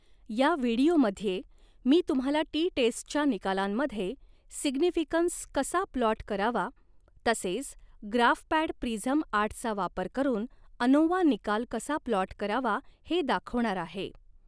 या व्हिडीओमध्ये मी तुम्हाला टी टेस्टच्या निकालांमध्ये सिग्निफ़िकन्स कसा प्लॉट करावा तसेच ग्राफपॅड प्रिझम आठचा वापर करून अनोवा निकाल कसा प्लॉट करावा हे दाखवणार आहे.